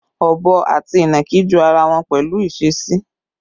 Ọ̀bọ àti ìnàkí jọ ara wọn pẹ̀lú ìṣesí